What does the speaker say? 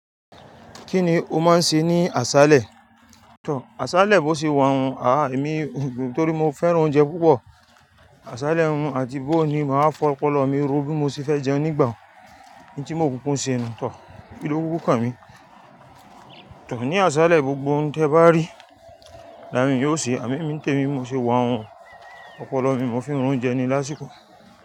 Kí ni o máa ń ṣe ní àṣálẹ́? Tọ̀, àṣálẹ́ bó ṣe wà wun, àáà, èmi ntorí mo fẹ́ràn oúnjẹ púpọ̀. Àṣálẹ́ wun àti bó ó ní, màá fọ ọpọlọ mi ro bí mo ṣe fẹ́ jẹun nígbà wo. N tí mo kúkú n ṣe ni, tọ̀, kí ló kuku kàn mí. Tọ̀, ní àṣálẹ́ gbogbo oun tí ẹ̀ bá rí, làá mi yóò ṣe, àmo emi ń tẹ mi bi mo ṣe wà wun. Ọpọlọ mi mo ń fi n ra óúnjẹ ní lásìkò.